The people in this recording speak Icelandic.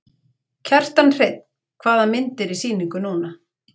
Kjartan Hreinn: Hvaða mynd er í sýningu núna?